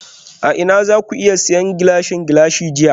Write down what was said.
A ina zaku iya siyan Gilashin Gilashin jiya?